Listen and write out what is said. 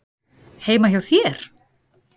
Heima hjá þér?